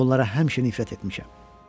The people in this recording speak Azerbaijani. Mən bunlara həmişə nifrət etmişəm.